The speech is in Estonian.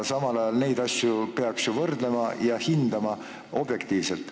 Samal ajal peaks neid asju ju võrdlema ja hindama objektiivselt.